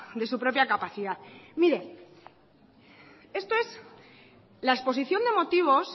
de su propia capacidad mire esto es la exposición de motivos